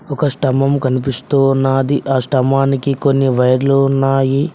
ఒక స్తంభము కనిపిస్తూ ఉన్నాది ఆ స్థంభానికి కొన్ని వైర్లు ఉన్నాయి.